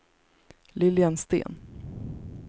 Lilian Sten